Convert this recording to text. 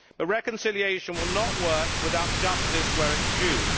The reconciliation will not work without justice where it is due.